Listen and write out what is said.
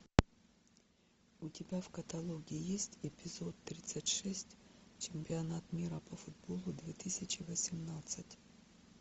у тебя в каталоге есть эпизод тридцать шесть чемпионат мира по футболу две тысячи восемнадцать